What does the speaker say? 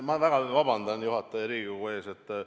Ma väga vabandan juhataja ja Riigikogu ees!